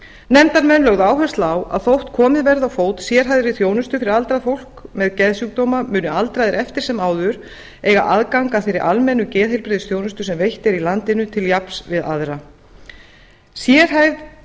nefndarmenn lögðu áherslu á að þótt komið verði á fót sérhæfðri þjónustu fyrir aldrað fólk með geðsjúkdóma munu aldraðir eftir sem áður eiga aðgang að þeirri almennu geðheilbrigðisþjónustu sem veitt er í landinu til jafns við aðra sérhæfð